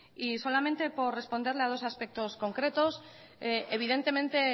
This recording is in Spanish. y solamente por responderle a dos aspectos concretos evidentemente